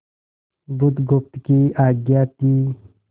बुधगुप्त की आज्ञा थी